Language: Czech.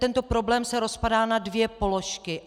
Tento problém se rozpadá na dvě položky.